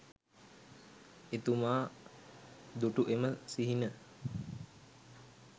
එතුමා දුටු එම සිහින